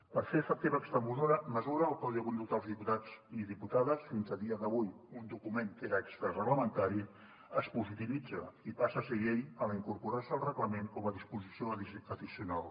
per fer efectiva aquesta mesura el codi de conducta dels diputats i diputades fins a dia d’avui un document que era extrareglamentari es positivitza i passa a ser llei en incorporar se al reglament com a disposició addicional